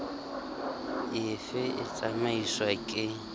e fe e tsamaiswang ke